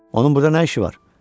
Onun burda nə işi var?